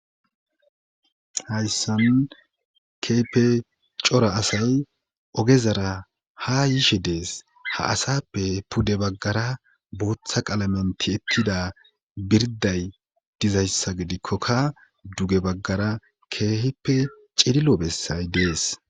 hayssan keepe cora asay oge zara ha yiishe dees ha asappe pudde baggara bootha qalamenti ettida birday dizayssa gidikkokka duge baggara keehippe cililo bessay dees